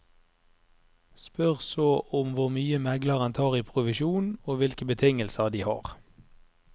Spør så om hvor mye megleren tar i provisjon, og hvilke betingelser de har.